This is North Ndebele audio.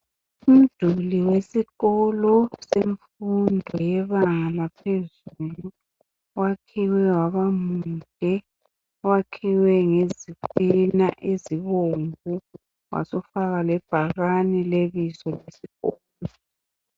Umduli wesikolo semfundo yebanga laphezulu wakhiwe waba muhle. Wakhiwe ngezitina ezibomvu wasufaka lebhakane lebizo lesikolo.